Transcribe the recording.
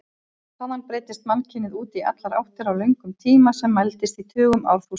Þaðan breiddist mannkynið út í allar áttir á löngum tíma sem mælist í tugum árþúsunda.